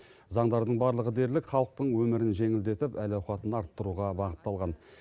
заңдардың барлығы дерлік халықтың өмірін жеңілдетіп әл ауқатын арттыруға бағытталған